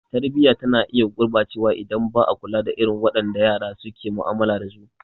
Tarbiyya tana iya gurɓacewa idan ba a kula da irin wadanda yara suke mu'amala dasu ba.